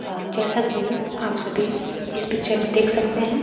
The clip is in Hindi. जैसा कि आप सभी इस पिक्चर में देख सकते हैं।